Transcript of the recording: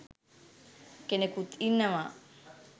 කෙනෙකුත් ඉන්නවා.